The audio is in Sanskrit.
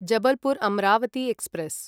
जबलपुर् अम्रावती एक्स्प्रेस्